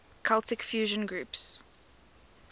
celtic fusion groups